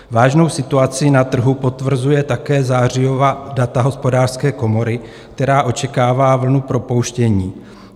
Vážnou situaci na trhu potvrzují také zářijová data hospodářské komory, která očekává vlnu propouštění.